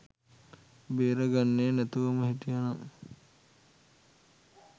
බේර ගන්නේ නැතුවම හිටිය නම්